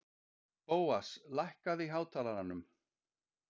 Bóas, lækkaðu í hátalaranum.